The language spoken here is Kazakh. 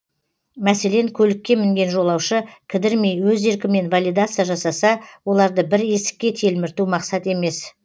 мәселен көлікке мінген жолаушы кідірмей өз еркімен валидация жасаса оларды бір есікке телмірту мақсат емес